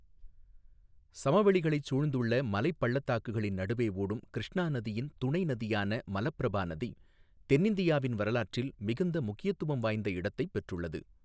சமவெளிகளைச் சூழ்ந்துள்ள மலைப் பள்ளத்தாக்குகளின் நடுவே ஓடும் கிருஷ்ணா நதியின் துணை நதியான மலபிரபா நதி, தென்னிந்தியாவின் வரலாற்றில் மிகுந்த முக்கியம் வாய்ந்த இடத்தைப் பெற்றுள்ளது.